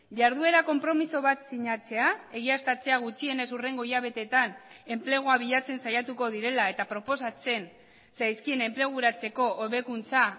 jarduera konpromiso bat sinatzea egiaztatzea gutxienez hurrengo hilabetetan enplegua bilatzen saiatuko direla eta proposatzen zaizkien enpleguratzeko hobekuntza